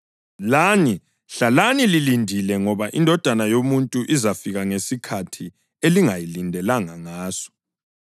Lani hlalani lilindile ngoba iNdodana yoMuntu izafika ngesikhathi elingayilindelanga ngaso.”